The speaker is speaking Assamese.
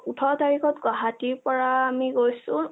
ওঠৰ তাৰিখত গুৱাহাটী পৰা আমি গৈছো